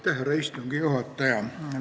Härra istungi juhataja!